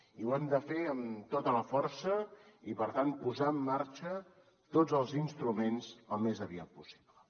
i ho hem de fer amb tota la força i per tant posar en marxa tots els instruments al més aviat possible